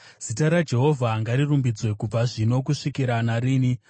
Zita raJehovha ngarirumbidzwe, kubva zvino kusvikira narini.